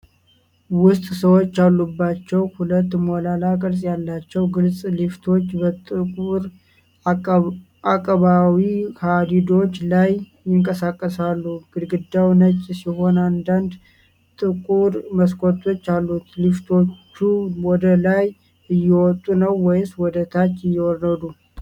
ውስጥ ሰዎች ያሉባቸው ሁለት ሞላላ ቅርጽ ያላቸው፣ ግልጽ ሊፍቶች በጥቁር አቀባዊ ሀዲዶች ላይ ይንቀሳቀሳሉ። ግድግዳው ነጭ ሲሆን አንዳንድ ጥቁር መስኮቶች አሉት። ሊፍቶቹ ወደ ላይ እየወጡ ነው ወይስ ወደ ታች እየወረዱ?